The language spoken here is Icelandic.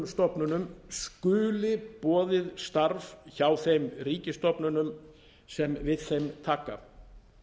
stofnunum skuli boðið starf hjá þeim ríkisstofnunum sem við þeim taka